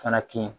Fana kɛ